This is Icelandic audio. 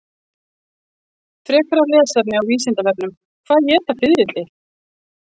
Frekara lesefni á Vísindavefnum: Hvað éta fiðrildi?